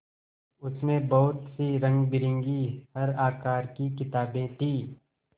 उसमें बहुत सी रंगबिरंगी हर आकार की किताबें थीं